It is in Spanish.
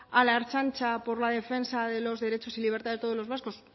a la ertzaintza por la defensa de los derechos y libertades de todos los vascos